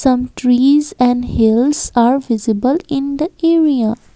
some trees and hills are visible in the area.